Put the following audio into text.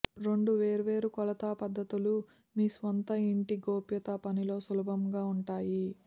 రెండు వేర్వేరు కొలత పద్ధతులు మీ స్వంత ఇంటి గోప్యతా పనిలో సులభంగా ఉంటాయి